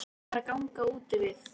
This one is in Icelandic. Hún var að ganga úti við.